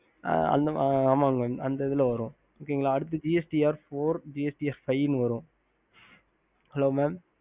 mam அந்த இதுல வரும் gst r four gst r five வரும்